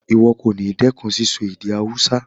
Ìwo kòní dẹ́kun síso èdè Hausa